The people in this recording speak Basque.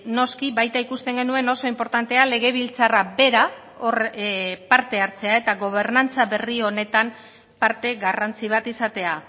noski baita ikusten genuen oso inportantea legebiltzarra bera hor parte hartzea eta gobernantza berri honetan parte garrantzi bat izatea